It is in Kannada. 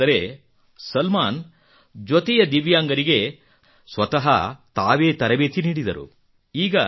ವಿಶೇಷವೆಂದರೆ ಸಲ್ಮಾನ್ ಜೊತೆಯ ದಿವ್ಯಾಂಗರಿಗೆ ತಾವೇ ಸ್ವತಃ ತರಬೇತಿ ನೀಡಿದರು